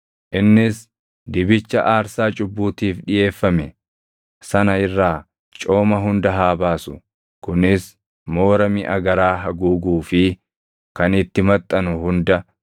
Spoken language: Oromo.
Innis dibicha aarsaa cubbuutiif dhiʼeeffame sana irraa cooma hunda haa baasu; kunis moora miʼa garaa haguuguu fi kan itti maxxanu hunda,